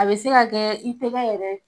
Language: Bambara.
A bɛ se ka kɛ i tɛgɛ yɛrɛ ,